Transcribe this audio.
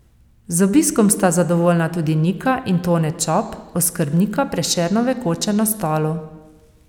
Z obiskom sta zadovoljna tudi Nika in Tone Čop, oskrbnika Prešernove koče na Stolu.